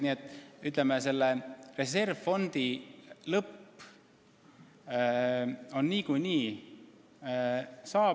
Nii et reservfondi lõpp on niikuinii saabumas.